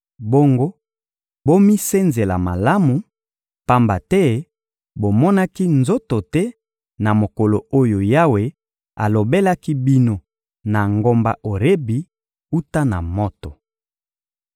Bongo, bomisenzela malamu, pamba te bomonaki nzoto te na mokolo oyo Yawe alobelaki bino na ngomba Orebi wuta na moto.